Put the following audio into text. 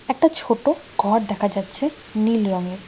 একটা ছোট ঘর দেখা যাচ্ছে নীল রঙের।